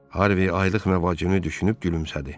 Harvi aylıq məvacibini düşünüb gülümsədi.